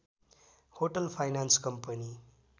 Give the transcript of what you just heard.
hotel finance company